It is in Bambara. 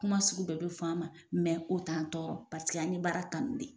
Kuma sugu bɛɛ bɛ fɔ an ma o t'an tɔɔrɔ an ye baara kanu de